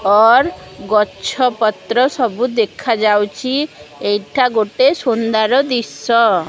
ଅର ଗଛ ପତ୍ର ସବୁ ଦେଖାଯାଉଛି ଏଇଠା ଗୋଟେ ସୁନ୍ଦର ଦିଶ୍ଯ ।